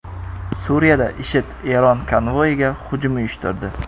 Suriyada IShID Eron konvoyiga hujum uyushtirdi.